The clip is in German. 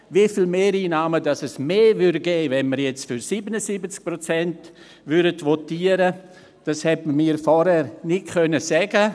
Wie viele Mehreinnahmen mehr es geben würde, wenn wir jetzt für 77 Prozent votieren würden, konnte man mir vorher nicht sagen.